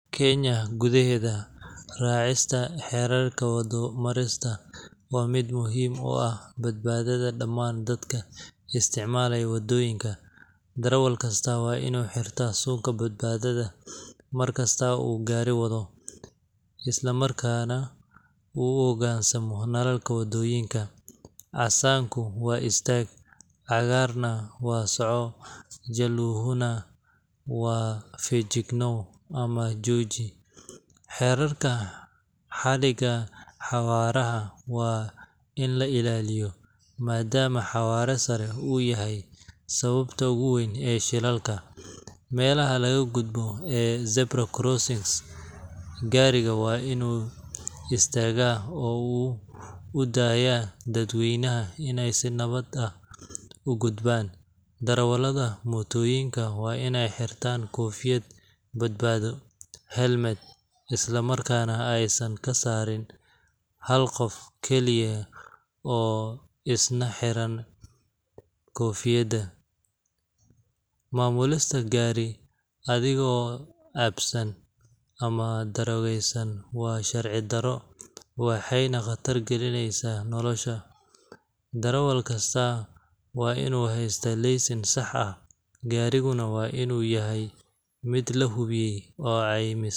Kenya gudaheeda, raacista xeerarka waddo-marista waa mid muhiim u ah badbaadada dhammaan dadka isticmaala waddooyinka. Darawal kasta waa inuu xirto suunka badbaadada mar kasta oo uu gaari wado, islamarkaana uu u hoggaansamo nalalka waddooyinka casaanku waa istaag, cagaarna waa soco, jaalluhuna waa feejignow ama jooji. Xeerarka xadiga xawaaraha waa in la ilaaliyo, maadaama xawaare sare uu yahay sababta ugu weyn ee shilalka. Meelaha laga gudbo ee zebra-crossings, gaariga waa inuu istaaga oo uu u daayo dadweynaha inay si nabad ah u gudbaan. Darawallada mootooyinka waa inay xirtaan koofiyad badbaado helmet, isla markaana aysan ka saarin hal qof keliya oo isna xiraya koofiyad. Maamulista gaari adigoo cabsan ama daroogaysan waa sharci darro waxayna khatar gelinaysaa nolosha. Darawal kastaa waa inuu haystaa laysan sax ah, gaariguna waa inuu yahay mid la hubiyay oo caymis leh.